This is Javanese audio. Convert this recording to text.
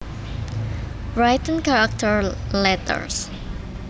Written characters letters